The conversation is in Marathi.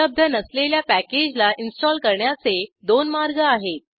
उपलब्ध नसलेल्या पॅकेजला इंस्टॉल करण्याचे दोन मार्ग आहेत